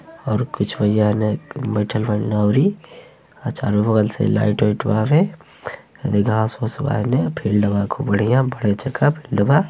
और कुछ जाने बइठल बारे अउरी और चारो बगल से लाइट वाइट बावे ये जा घास-वास बावे फिल्ड् बा खूब बढ़िया बड़े चुके फिल्ड् बा।